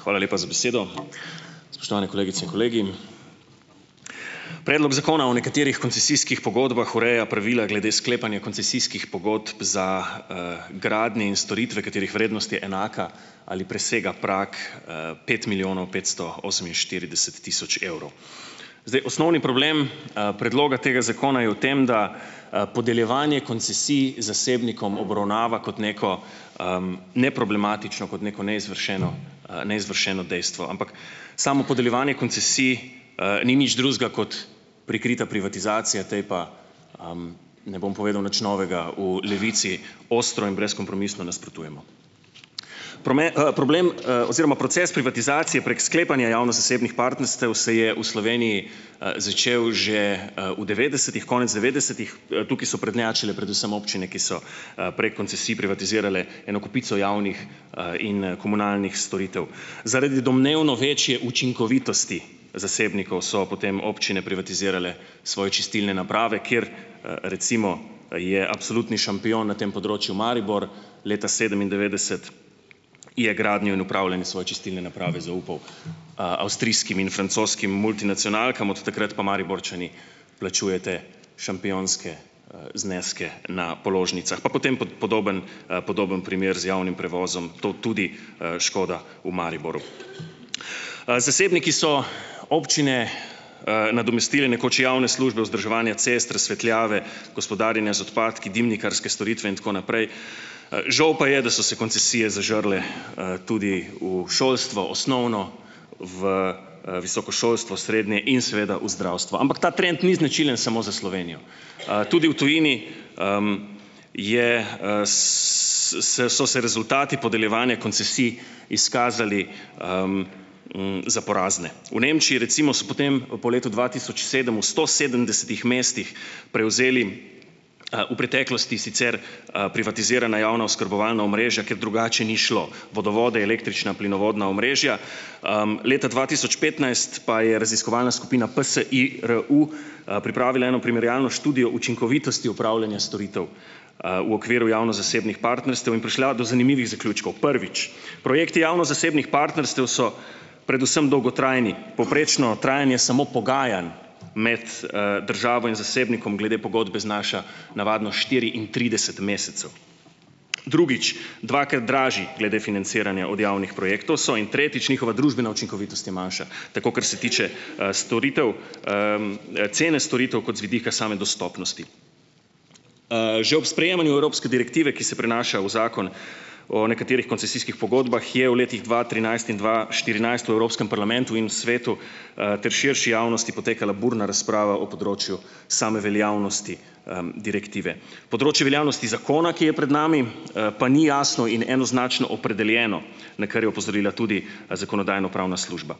Hvala lepa za besedo. Spoštovane kolegice in kolegi! Predlog zakona o nekaterih koncesijskih pogodbah ureja pravila glede sklepanja koncesijskih pogodb za, gradnje in storitve, katerih vrednost je enaka ali presega prag, pet milijonov petsto oseminštirideset tisoč evrov. Zdaj osnovni problem, predloga tega zakona je v tem, da, podeljevanje koncesij zasebnikom obravnava kot neko, neproblematično, kot neko neizvršeno, neizvršeno dejstvo, ampak samo podeljevanje koncesij, ni nič drugega kot prikrita privatizacija, tej ne bom povedal nič novega, v Levici, ostro in brezkompromisno nasprotujemo. problem, oziroma proces privatizacije prek sklepanja javno-zasebnih partnerstev se je v Sloveniji, začel že, v devetdesetih, konec devetdesetih, tukaj so prednjačile predvsem občine, ki so, prek koncesij privatizirale eno kopico javnih, in komunalnih storitev. Zaradi domnevno večje učinkovitosti zasebnikov so potem občine privatizirale svoje čistilne naprave, kjer, recimo je absolutni šampion na tem področju Maribor. Leta sedemindevetdeset je gradnjo in upravljanje svoje čistilne naprave zaupal, avstrijskim in francoskim multinacionalkam, od takrat pa Mariborčani plačujete šampionske, zneske na položnicah, pa potem podoben, podoben primer z javnim prevozom. To tudi škoda v Mariboru. Zasebniki so občine, nadomestile nekoč javne službe, vzdrževanje cest, razsvetljave, gospodarjenje z odpadki, dimnikarske storitve, in tako naprej, žal pa je, da so se koncesije zažrle, tudi v šolstvo, osnovno, v, visoko šolstvo, srednje in seveda v zdravstvo, ampak ta trend ni značilen samo za Slovenijo, tudi v tujini je, se so se rezultati podeljevanja koncesij izkazali za porazne. V Nemčiji recimo so potem, po letu dva tisoč sedem v sto sedemdesetih mestih prevzeli, v preteklosti sicer, privatizirana javna oskrbovalna omrežja, ker drugače ni šlo, vodovode, električna, plinovodna omrežja. Leta dva tisoč petnajst pa je raziskovalna skupina PSIRU, pripravila eno primerjalno študijo učinkovitosti upravljanja storitev, v okviru javno-zasebnih partnerstev in prišla do zanimivih zaključkov, prvič, projekti javno-zasebnih partnerstev so predvsem dolgotrajni, povprečno trajanje samo pogajanj med, državo in zasebnikom glede pogodbe znaša navadno štiriintrideset mesecev. Drugič. Dvakrat dražji glede financiranja od javnih projektov so, in tretjič, njihova družbena učinkovitost je manjša, tako, kar se tiče, storitev, cene storitev kot z vidika same dostopnosti. Že ob sprejemanju evropske direktive, ki se prinaša v zakon o nekaterih koncesijskih pogodbah, je v letih dva trinajst in dva štirinajst v Evropskem parlamentu in Svetu, ter širši javnosti potekala burna razprava o področju same veljavnosti, direktive. Področje veljavnosti zakona, ki je pred nami, pa ni jasno in enoznačno opredeljeno, na kar je opozorila tudi zakonodajno-pravna služba.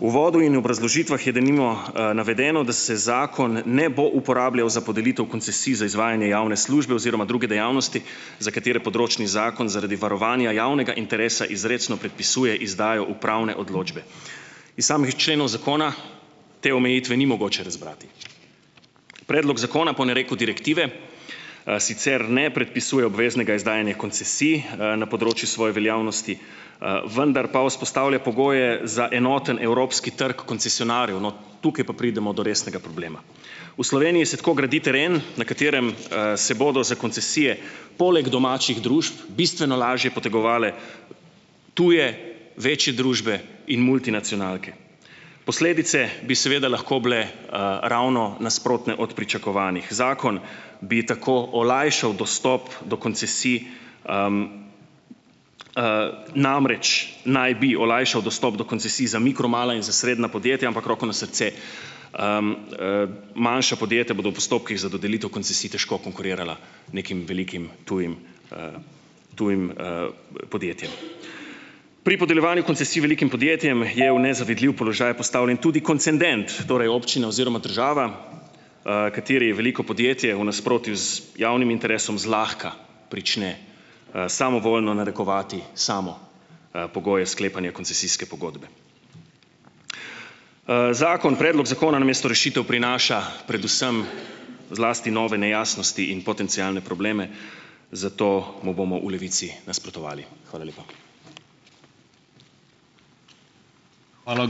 V uvodu in obrazložitvah je denimo, navedeno, da se zakon ne bo uporabljal za podelitev koncesij za izvajanje javne službe oziroma druge dejavnosti, za katere področni zakon zaradi varovanja javnega interesa izrecno predpisuje izdajo upravne odločbe. Iz samih členov zakona te omejitve ni mogoče razbrati. Predlog zakona po nareku direktive, sicer ne predpisuje obveznega izdajanja koncesij, na področju svoje veljavnosti, vendar pa vzpostavlja pogoje za enoten evropski trg koncesionarjev - no, tukaj pa pridemo do resnega problema. V Sloveniji se tako gradi teren, na katerem, se bodo za koncesije, poleg domačih družb, bistveno lažje potegovale tuje, večje družbe in multinacionalke. Posledice bi seveda lahko bile, ravno nasprotne od pričakovanih. Zakon bi tako olajšal dostop do koncesij, namreč naj bi olajšal dostop do koncesij za mikro-, mala in za srednja podjetja, ampak roko na srce, manjša podjetja bodo v postopkih za dodelitev koncesij težko konkurirala nekim velikim, tujim, tujim, podjetjem. Pri podeljevanju koncesij velikim podjetjem je v nezavidljiv položaj postavljen tudi koncendent, torej občina oziroma država, kateri je veliko podjetje, v nasprotju z javnim interesu zlahka prične, samovoljno narekovati, samo, pogoje sklepanja koncesijske pogodbe. Zakon, predlog zakona namesto rešitev prinaša predvsem zlasti nove nejasnosti in potencialne probleme, zato mu bomo v Levici nasprotovali. Hvala lepa.